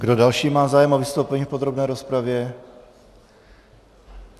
Kdo další má zájem o vystoupení v podrobné rozpravě?